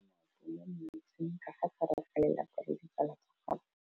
Mme o namile maoto mo mmetseng ka fa gare ga lelapa le ditsala tsa gagwe.